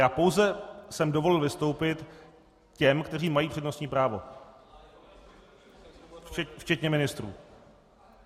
Já pouze jsem dovolil vystoupit těm, kteří mají přednostní právo, včetně ministrů.